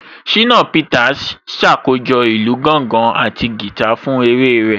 Ṣínà Peters ṣàkójọ̀ ìlù gángan àti guitar fún eré rẹ̀